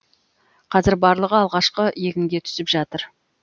қазір барлығы алғашқы егінге түсіп жатыр